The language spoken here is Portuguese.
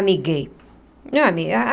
Amiguei ah.